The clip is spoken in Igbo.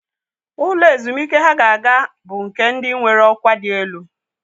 Ụlọ ezumike ha ga-aga bụ nke ndị nwere ọkwa dị elu.